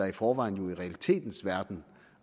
i forvejen i realitetens verden